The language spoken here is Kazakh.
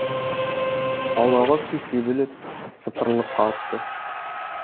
аулаға су себіліп сыпырылып қалыпты